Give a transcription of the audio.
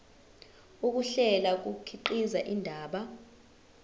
ukuhlela kukhiqiza indaba